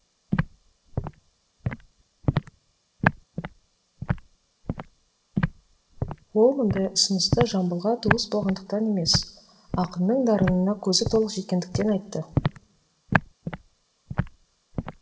ол мұндай ұсынысты жамбылға туыс болғандықтан емес ақынның дарынына көзі толық жеткендіктен айтты